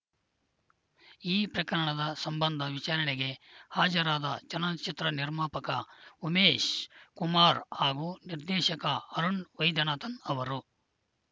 ಈ ಪ್ರಕರಣದ ಸಂಬಂಧ ವಿಚಾರಣೆಗೆ ಹಾಜರಾದ ಚಲನಚಿತ್ರ ನಿರ್ಮಾಪಕ ಉಮೇಶ್‌ ಕುಮಾರ್‌ ಹಾಗೂ ನಿರ್ದೇಶಕ ಅರುಣ್‌ ವೈದ್ಯನಾಥನ್‌ ಅವರು